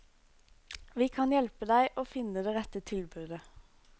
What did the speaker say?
Vi kan hjelpe deg å finne det rette tilbudet.